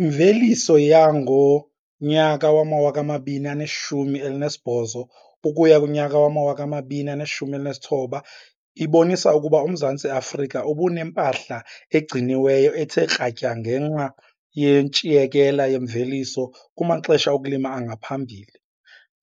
Imveliso yangonyaka wama-2018 ukuya kunyaka wama-2019 ibonisa ukuba uMzantsi Afrika ubunempahla egciniweyo ethe kratya ngenxa yentshiyekela yemveliso kumaxesha okulima angaphambili,